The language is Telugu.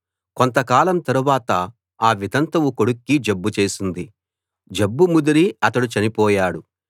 కొంతకాలం తరువాత ఆ వితంతువు కొడుక్కి జబ్బు చేసింది జబ్బు ముదిరి అతడు చనిపోయాడు